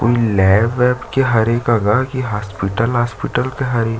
उ लैब वेब के हरे गगर हॉस्पिटल वास्पिटल के हरे।